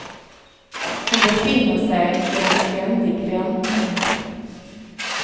Hon befinner sig i en ständig väntan.